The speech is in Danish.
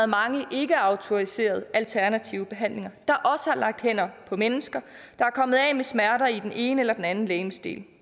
mange ikkeautoriserede alternative behandlere der har lagt hænder på mennesker der er kommet af med smerter i den ene eller den anden legemsdel